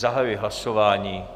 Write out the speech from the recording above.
Zahajuji hlasování.